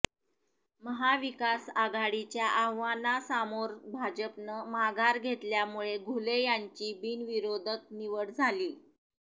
महाविकास आघाडीच्या आव्हानासामोर भाजपनं माघार घेतल्यामुळे घुले यांची बिनविरोध निवड झालीय